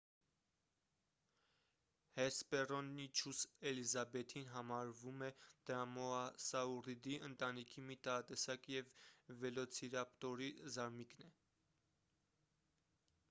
հեսպեռոնիչուս էլիզաբեթին համարվում է դրոմաոսաուռիդի ընտանիքի մի տարատեսակը և վելոցիրապտորի զարմիկն է